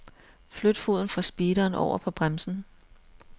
Flyt foden fra speederen over på bremsen.